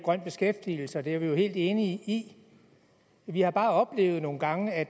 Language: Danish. grøn beskæftigelse det er vi helt enige i vi har bare oplevet nogle gange at